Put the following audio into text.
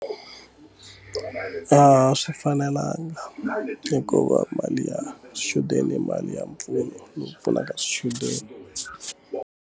A swi fanelanga hikuva mali ya swichudeni mali ya mpfuno lowu pfunaka swichudeni.